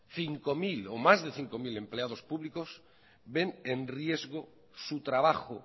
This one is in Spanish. cinco mil o más de cinco mil empleados públicos ven en riesgo su trabajo